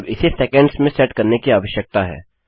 अब इसे सेकंड्स में सेट करने की आवश्यकता है